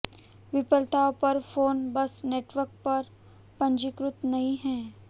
विफलताओं पर फोन बस नेटवर्क पर पंजीकृत नहीं है